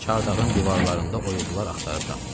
Çardağın divarlarında oyuqlar axtarıb tapdı.